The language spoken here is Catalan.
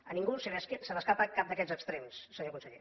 a ningú se li escapa cap d’aquests extrems senyor conseller